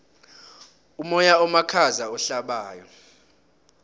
umoya omakhaza ohlabako